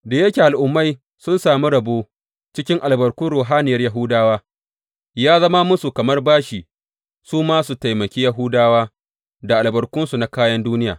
Da yake Al’ummai sun sami rabo cikin albarkun ruhaniyar Yahudawa, ya zama musu kamar bashi su ma su taimaki Yahudawa da albarkunsu na kayan duniya.